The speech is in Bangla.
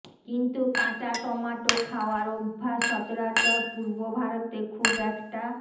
কিন্তু কাঁচা টমাটো খাওয়ার অভ্য়াস সচরাচর পূর্ব ভারতে খুব একটা